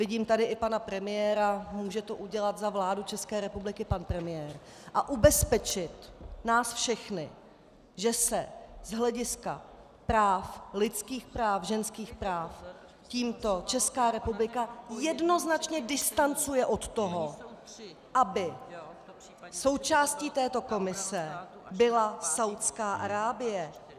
Vidím tady i pana premiéra, může to udělat za vládu České republiky pan premiér a ubezpečit nás všechny, že se z hlediska práv, lidských práv, ženských práv tímto Česká republika jednoznačně distancuje od toho, aby součástí této komise byla Saúdská Arábie.